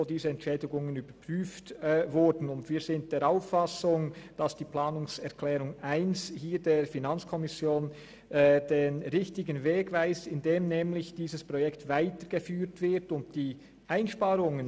Dort wurden diese Entschädigungen überprüft, und unseres Erachtens weist die Planungserklärung 1 der FiKo den richtigen Weg, indem dieses Projekt nämlich weitergeführt werden soll.